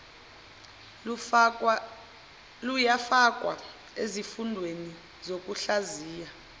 luyafakwa ezifundweni zokuhlaziya